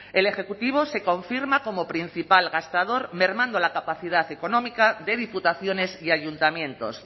el ejecutivo se confirma como principal gastador mermando la capacidad económica de diputaciones y ayuntamientos